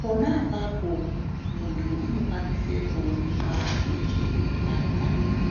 pona apapo munhu unokwanise kuonekwa chinenge cheimurwadza.